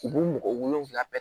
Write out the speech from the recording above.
U b'u mɔgɔ wolonwula bɛɛ